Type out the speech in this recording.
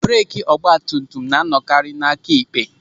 Breeki ọgbatumtum na anọkarị n'aka ekpe.